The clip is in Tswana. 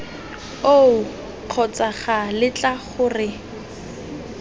oo kgotsa ca letla gore